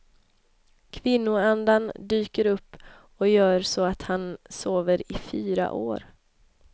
Kvinnoanden dyker upp och gör så att han sover i fyra år.